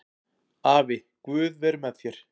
Afi, guð veri með þér